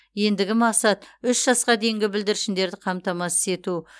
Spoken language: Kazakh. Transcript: ендігі мақсат үш жасқа дейінгі бүлдіршіндері қамтамасыз ету